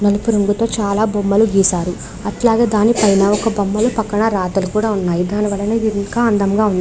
నలుపు రంగు తో చాల బొమ్మలు గీశారు. అట్లాగే దాని పైన ఒక బొమ్మల రాతలు కూడా ఉన్నాయి. దానివలన ఇంకా అందంగా ఉన్న --